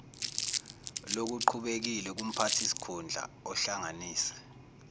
lokuqhubekile kumphathisikhundla ohlanganise